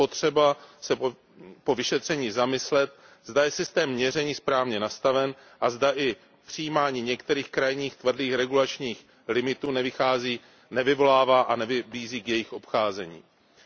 Je potřeba se po vyšetření zamyslet, zda je systém měření správně nastaven a zda i přijímání některých krajních, tvrdých regulačních limitů nevyvolává jejich obcházení a nevybízí k němu.